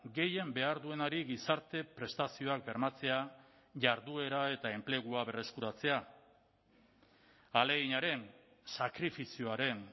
gehien behar duenari gizarte prestazioak bermatzea jarduera eta enplegua berreskuratzea ahaleginaren sakrifizioaren